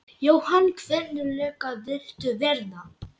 Jóhann: Hvernig lögga viltu verða?